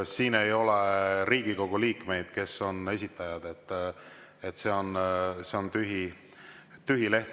Siin ei ole Riigikogu liikmeid, kes on esitajad, see on tühi leht.